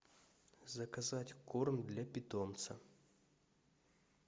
заказать корм для питомца